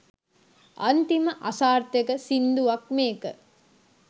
අන්තිම අසාර්ථක සිංදුවක් මේක.